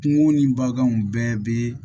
Kungo ni baganw bɛɛ bɛ